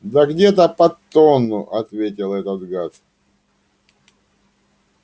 да где-то под тонну ответил этот гад